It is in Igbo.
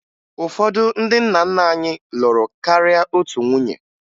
Ụfọdụ ndị nna nna anyị lụrụ karịa otu nwunye